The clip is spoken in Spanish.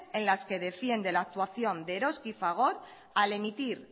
en las que defiende la actuación de eroski y fagor al emitir